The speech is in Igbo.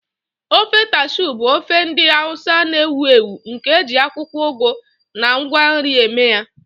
Ofe Taushe bụ ofe ndị Hausa na-ewu ewu nke e ji akwụkwọ ugu na ngwa nri eme ya.